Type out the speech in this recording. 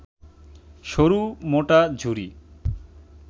সরু মোটা ঝুরি